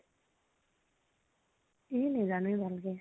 এ নেজানোয়ে ভাল কে।